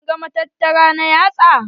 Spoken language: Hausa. Kin ga matattara na yatsa?